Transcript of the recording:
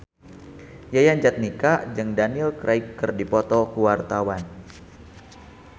Yayan Jatnika jeung Daniel Craig keur dipoto ku wartawan